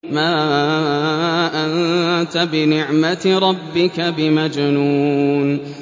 مَا أَنتَ بِنِعْمَةِ رَبِّكَ بِمَجْنُونٍ